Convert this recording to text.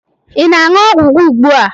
Ị na-aṅụ ọgwụ gị ugbua?